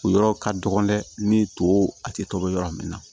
O yɔrɔ ka dɔgɔn dɛ ni to a tɛ tobi yɔrɔ min na